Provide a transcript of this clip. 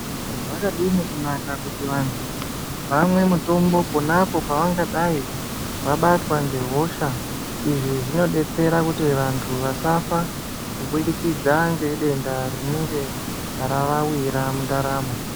Zvakadini kunaka kuti antu vamwe mutombo ponapo pavanga dai vabatwa nge hosha izvi zvino detsera kuti vantu vasafa ku budikidza nge denda rinenge rava wira mu ndaramo.